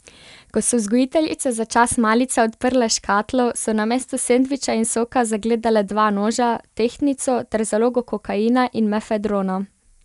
Ko so vzgojiteljice za čas malice odprle škatlo, so namesto sendviča in soka zagledale dva noža, tehtnico ter zalogo kokaina in mefedrona.